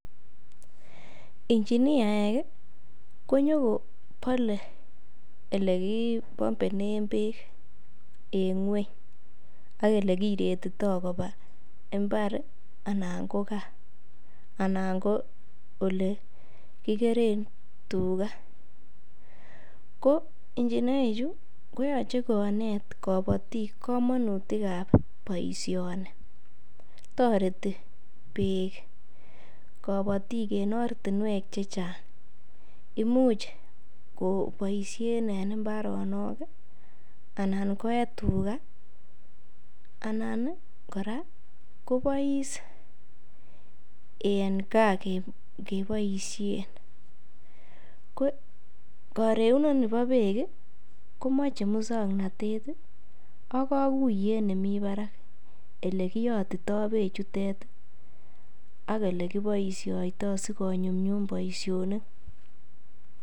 Injiniaek konyokobole ele kipambenen beek en ng'weny ak ele kiretito koba imbar anan ko ole kigeren tuga. Ko injiniachu ko yoche konet kabotik komonutik ab boisioni toreti beek kobotik enortinwek che chang, imuch koboisien en mbaronok anan koye tuga anan kora kobois en gaa keboisien. Ko koregunoni bo beek komoche muswoknatet ak koguyet nemi barak ele kiyotito beechutet ak ole kiboisioito sikonyumnyum boisionik.